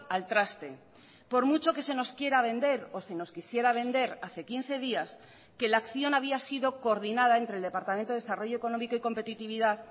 al traste por mucho que se nos quiera vender o se nos quisiera vender hace quince días que la acción había sido coordinada entre el departamento de desarrollo económico y competitividad